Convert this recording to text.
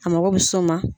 A mago bɛ s'o ma